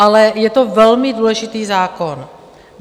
Ale je to velmi důležitý zákon.